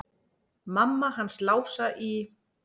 Mamma hans Lása í